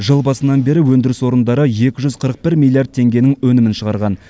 жыл басынан бері өндіріс орындары екі жүз қырық бір миллиард теңгенің өнімін шығарған